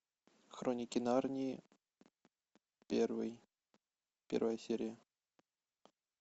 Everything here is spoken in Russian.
хроники нарнии первый первая серия